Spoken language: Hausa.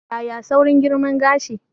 Yaya saurin girma gashi?